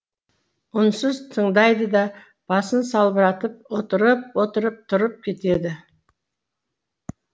үнсіз тыңдайды да басын салбыратып отырып отырып тұрып кетеді